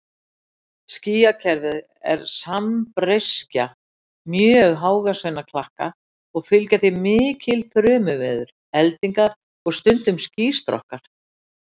Skýjakerfið er sambreyskja mjög hávaxinna klakka og fylgja því mikil þrumuveður, eldingar og stundum skýstrokkar.